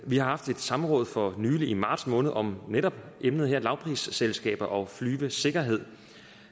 vi har haft et samråd for nylig i marts måned om netop emnet her lavprisselskaber og flyvesikkerhed